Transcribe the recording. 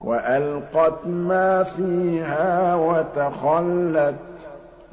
وَأَلْقَتْ مَا فِيهَا وَتَخَلَّتْ